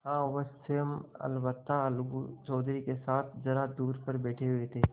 हाँ वह स्वयं अलबत्ता अलगू चौधरी के साथ जरा दूर पर बैठे हुए थे